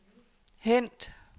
hent